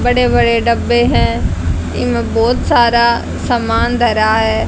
बड़े बड़े डब्बे हैं इनमें बहोत सारा सामान धरा है।